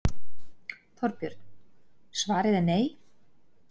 Þorbjörn: Svarið er nei?